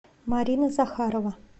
марина захарова